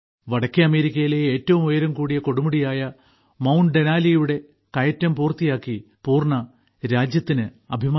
വടക്കേ അമേരിക്കയിലെ ഏറ്റവും ഉയരം കൂടിയ കൊടുമുടിയായ മൌണ്ട്ഡെനാലി യുടെ കയറ്റം പൂർത്തിയാക്കി പൂർണ രാജ്യത്തിന് അഭിമാനമായി